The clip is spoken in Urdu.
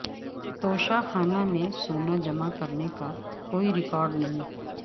توشہ خانہ میں سونا جمع کرنے کا کوئی رکارڈ نہیں